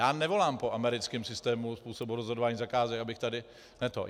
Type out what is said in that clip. Já nevolám po americkém systému způsobu rozhodování zakázek, abych tady ne to.